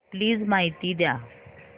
please माहिती द्या